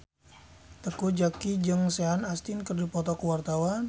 Teuku Zacky jeung Sean Astin keur dipoto ku wartawan